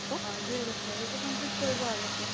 অ । দুইবছৰ । সেইতো complete কৰিব আগতে